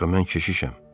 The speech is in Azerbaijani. Axı mən keşişəm.